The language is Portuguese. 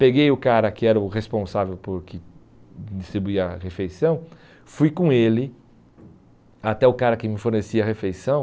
Peguei o cara que era o responsável por que distribuir a refeição, fui com ele, até o cara que me fornecia a refeição.